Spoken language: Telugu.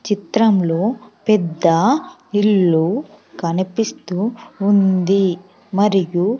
చిత్రంలో పెద్ద ఇల్లు కనిపిస్తూ ఉంది మరియు.